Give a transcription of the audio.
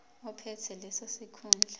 ophethe leso sikhundla